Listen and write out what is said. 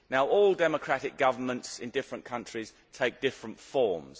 All democratic governments in different countries take different forms.